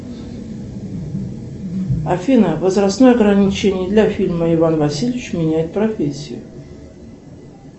афина возрастное ограничение для фильма иван васильевич меняет профессию